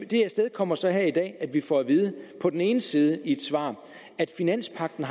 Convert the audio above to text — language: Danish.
det afstedkommer så her i dag at vi får at vide på den ene side i et svar at finanspagten